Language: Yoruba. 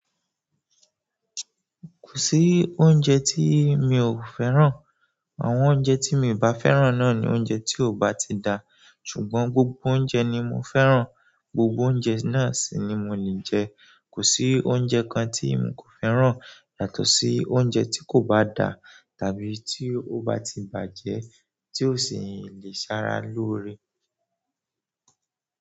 Kò sí oúnjẹ tí mi ò fẹ́ràn. Àwọn oúnjẹ tí mi ò bá fẹ́ràn náà ni oúnjẹ tí ò bá ti da. Ṣùgbọ́n gbogbo oúnjẹ ni mo fẹ́ràn. Gbogbo oúnjẹ náà sì ni mo lè jẹ. Kò sí oúnjẹ kan tí un kò fẹ́ràn yàtọ̀ sí oúnjẹ tí kò bá da tàbí tí ó bá ti bàjẹ́ tí ò sì lè ṣara lóore.